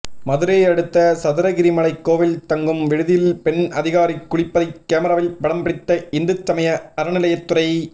மதுரையை அடுத்த சதுரகிரிமலை கோவில் தங்கும் விடுதியில் பெண் அதிகாரி குளிப்பதை கேமராவில் படம் பிடித்த இந்துசமய அறநிலையத்துறை